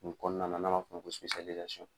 N kɔnɔna na nan ba fɔ o ma ko